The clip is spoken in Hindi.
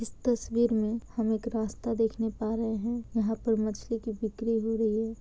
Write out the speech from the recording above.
इस तस्वीर में हम एक रास्ता देखने पा रहे हैं| यहाँ पर मछली की बिक्री हो रही है।